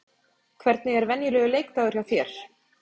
Hvernig er venjulegur leikdagur hjá þér?